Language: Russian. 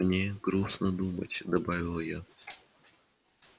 мне грустно думать добавила я